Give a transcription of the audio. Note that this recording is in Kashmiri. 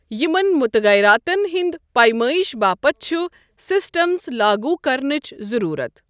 یِمَن متغیراتَن ہُنٛد پیمٲئش باپتھ چھُ سسٹمز لاگو کرنٕچ ضرروٗت۔